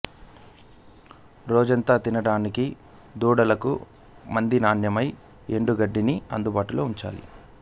రోజంతా తినడానికి దూడలకు మంచి నాణ్యమైన ఎండుగడ్డిని అందుబాటులో ఉంచాలి